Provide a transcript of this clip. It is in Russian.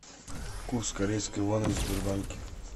курс корейской воны в сбербанке